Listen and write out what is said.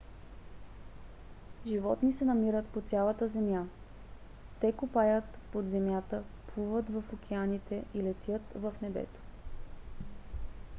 животни се намират по цялата земя. те копаят под земята плуват в океаните и летят в небето